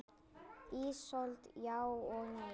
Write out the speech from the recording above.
Ísold: Já og nei.